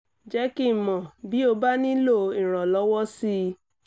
jẹ́ kí n mọ̀ bí o bá nílò ìrànlọ́wọ́ sí i